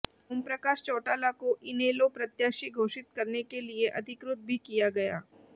ओमप्रकाश चौटाला को इनेलो प्रत्याशी घोषित करने के लिए अधिकृत भी किया गया